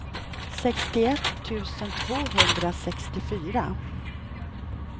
sextioett tusen tvåhundrasextiofyra